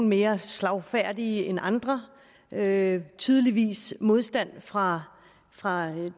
mere slagfærdige end andre der er tydeligvis modstand fra fra